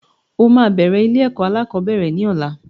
O máa bẹ̀rẹ̀ ilé-ẹ̀kọ́ alákọ̀ọ́bẹ̀rẹ̀ ní ọ̀la.